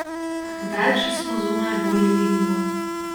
Več smo zunaj, bolje vidimo.